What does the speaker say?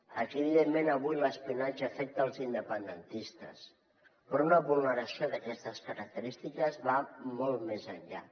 aquí evidentment avui l’espionatge afecta els independentistes però una vulneració d’aquestes característiques va molt més enllà